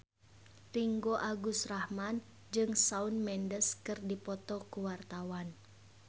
Ringgo Agus Rahman jeung Shawn Mendes keur dipoto ku wartawan